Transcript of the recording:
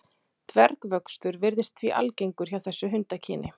Dvergvöxtur virðist því algengur hjá þessu hundakyni.